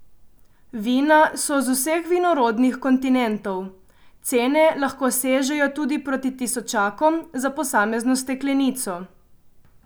Vina so z vseh vinorodnih kontinentov, cene lahko sežejo tudi proti tisočakom za posamezno steklenico.